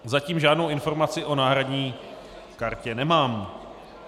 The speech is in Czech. Zatím žádnou informaci o náhradní kartě nemám.